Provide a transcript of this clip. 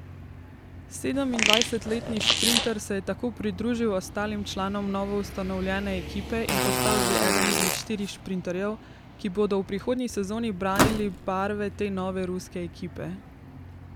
Sedemindvajsetletni šprinter se je tako pridružil ostalim članom novoustanovljene ekipe in postal že eden izmed štirih šprinterjev, ki bodo v prihodnji sezoni branili barve te nove Ruske ekipe.